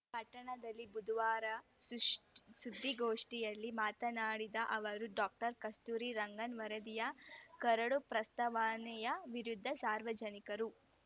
ಪಟ್ಟಣದಲ್ಲಿ ಬುಧವಾರ ಸೃಷ್ ಸುದ್ದಿಗೋಷ್ಠಿಯಲ್ಲಿ ಮಾತನಾಡಿದ ಅವರು ಡಾಕ್ಟರ್ ಕಸ್ತೂರಿ ರಂಗನ್‌ ವರದಿಯ ಕರಡು ಪ್ರಸ್ತಾವನೆಯ ವಿರುದ್ಧ ಸಾರ್ವಜನಿಕರು